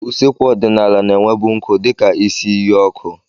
Ụsekwu ọdịnala na-enwebu nkụ dị ka isi iyi ọkụ.